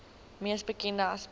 mees bekende aspek